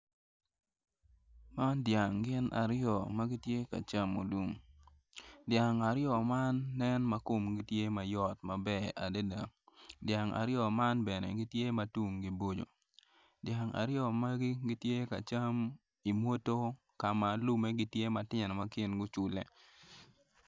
Man dyang gin aryo ma gitye ka camo lum dyang aryo man nen ma komgi tye ma yot maber adada dyang aryo man bene gitye ma tunggi bocco dyang aryo magi gitye ka cam imwodgo ka ma lume gitye ma tino ma kingi ocule.